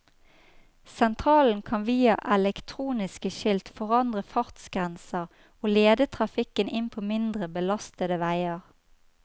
Sentralen kan via elektroniske skilt forandre fartsgrenser og lede trafikken inn på mindre belastede veier.